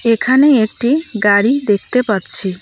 এখানে একটি গাড়ি দেখতে পাচ্ছি।